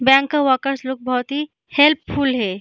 Bank का workers लोग बहोत ही हेल्पफुल है।